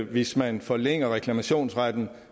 hvis man forlænger reklamationsretten